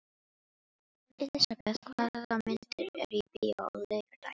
Elisabeth, hvaða myndir eru í bíó á laugardaginn?